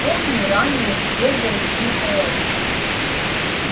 помню раннее свежее тихое утро